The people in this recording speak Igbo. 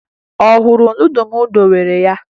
Ọ hụrụ nudụ m debere ya?